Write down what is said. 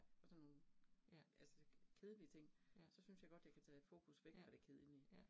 Og sådan nogle altså kedelige ting, så synes jeg godt, jeg kan tage fokus væk fra det kedelige